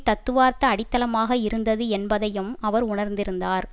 தத்துவார்த்த அடித்தளமாக இருந்தது என்பதையும் அவர் உணர்ந்திருந்தார்